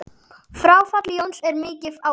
Fráfall Jóns er mikið áfall.